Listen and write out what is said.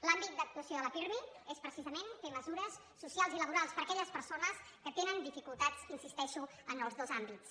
l’àmbit d’actuació del pirmi és precisament fer mesures socials i laborals per a aquelles persones que tenen dificultats hi insisteixo en els dos àmbits